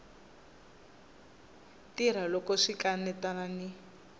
tirha loko swi kanetana ni